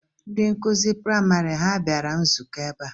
Ndị nkụzi praịmarị ha bịara nzukọ ebe a?